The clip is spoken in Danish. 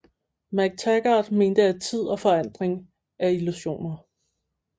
McTaggart mente at tid og forandring er illusioner